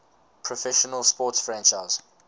professional sports franchise